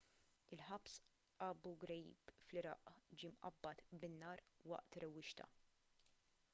il-ħabs abu ghraib fl-iraq ġie mqabbad bin-nar waqt rewwixta